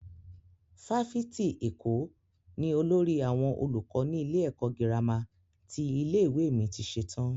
Fáfitì Èkó ni olórí àwọn olùkọ́ nílé ẹ̀kọ́ gírámà ti ilé-ìwé mi ti ṣetán.